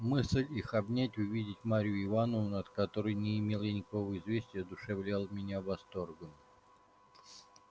мысль их обнять увидеть марью ивановну от которой не имел я никакого известия одушевляла меня восторгом